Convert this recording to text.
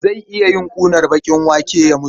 Zai iya yin ƙunar baƙin wake ya mutu.